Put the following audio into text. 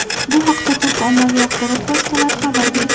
Bu haqda turk ommaviy axborot vositalari xabar berdi.